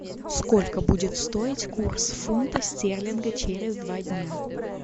сколько будет стоить курс фунта стерлинга через два дня